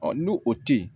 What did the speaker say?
ni o te yen